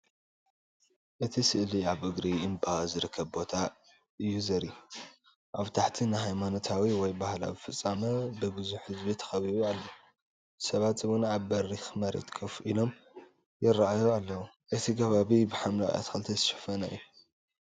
እቲ ስእሊ ኣብ እግሪ እምባ ዝርከብ ቦታ እዩ ዘርኢ። ኣብ ታሕቲ ንሃይማኖታዊ ወይ ባህላዊ ፍጻመ፡ ብዙሕ ህዝቢ ተኣኪቡ ኣሎ። ሰባት እውን ኣብ በሪኽ መሬት ኮፍ ኢሎም ይረኣዩ ኣለው። እቲ ከባቢ ብሓምላይ ኣትክልቲ ዝተሸፈነ እዩ።